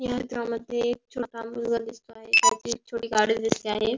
ह्याच्या मध्ये एक छोटा मुलगा दिसतो आहे त्याची एक छोटी गाडी दिसते आहे.